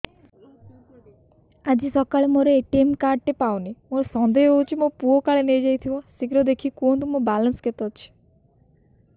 ଆଜି ସକାଳେ ମୋର ଏ.ଟି.ଏମ୍ କାର୍ଡ ଟି ପାଉନି ମୋର ସନ୍ଦେହ ହଉଚି ମୋ ପୁଅ କାଳେ ନେଇଯାଇଥିବ ଶୀଘ୍ର ଦେଖି କୁହନ୍ତୁ ମୋର ବାଲାନ୍ସ କେତେ ଅଛି